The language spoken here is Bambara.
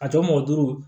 A tɔ mɔ duuru